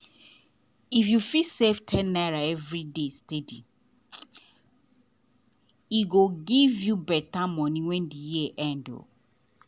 if you fit save ₦10 every day steady e go give you better money when the year end.